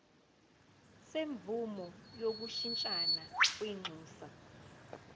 semvume yokushintshisana kwinxusa